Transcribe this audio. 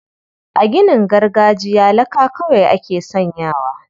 A ginin gargajiya laka kawai ake sanyawa.